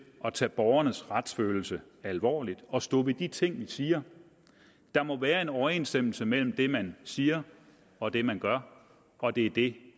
at tage borgernes retsfølelse alvorligt og stå ved de ting vi siger der må være en overensstemmelse mellem det man siger og det man gør og det er det